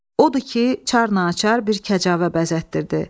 Odur ki, çar naçar bir kəcavə bəzətdirdi.